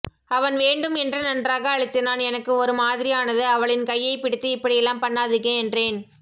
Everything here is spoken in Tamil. அவன் வேண்டும் என்று நன்றாக அழுத்தினான் எனக்கு ஒரு மாதிரியானது அவளின் கையைப் பிடித்து இப்படியெல்லாம் பன்னாதிங்க என்றேன்